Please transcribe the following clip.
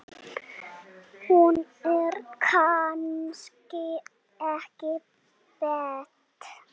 Hún er kannski ekki beint.